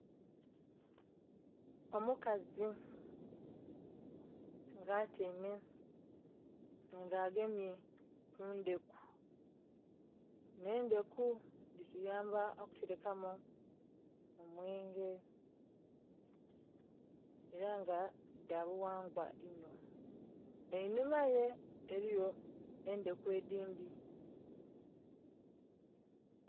Omukazi nga atyaime nga agemye ku ndheku. dhino endheku dhituyamba okuterekamu omwenge era nga dha bughangwa inho, einhuma ghe eliyo endheku edindhi.